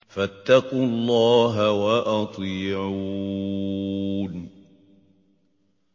فَاتَّقُوا اللَّهَ وَأَطِيعُونِ